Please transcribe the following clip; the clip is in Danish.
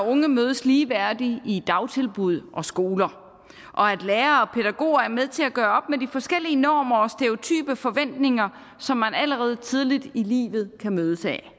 og unge mødes ligeværdigt i dagtilbud og skoler og at lærere og pædagoger er med til at gøre op med de forskellige normer og stereotype forventninger som man allerede tidligt i livet kan mødes af